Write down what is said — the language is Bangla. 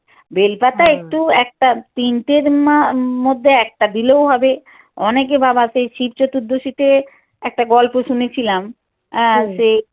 বেল পাতা একটু একটা তিনটের মা~ মধ্যে একটা দিলেও হবে অনেকে বাবাকে শিব চতুর্দশীতে একটা গল্প শুনেছিলাম আহ সেই